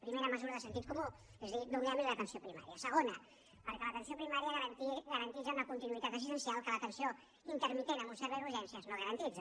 primera mesura de sentit comú és a dir donem li l’atenció primària perquè l’atenció primària garanteix una continuïtat assistencial que l’atenció intermitent en un servei d’urgències no garanteix